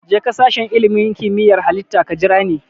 Jeka sashen ilimin kimiyyar Halitta ka jirani.